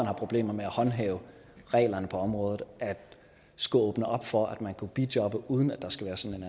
har problemer med at håndhæve reglerne på området at skulle åbne op for at man skulle kunne bijobbe uden at der skal være sådan